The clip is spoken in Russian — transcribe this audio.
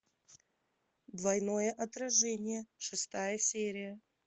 двойное отражение шестая серия